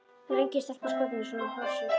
Það er engin stelpa skotin í svona hrossi!